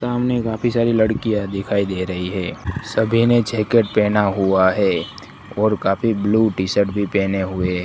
सामने काफी सारी लड़कियां दिखाई दे रही है सभी ने जैकेट पहना हुआ है और काफी ब्लू टी शर्ट भी पहने हुए--